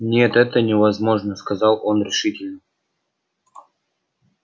нет это невозможно сказал он решительно